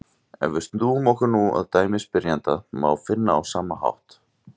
Ef við snúum okkur nú að dæmi spyrjanda má finna á sama hátt: